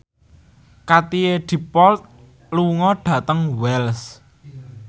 Katie Dippold lunga dhateng Wells